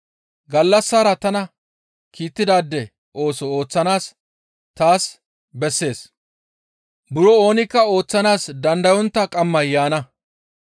Gallassara tana kiittidaade ooso ooththanaas taas bessees. Buro oonikka ooththanaas dandayontta qammay yaana.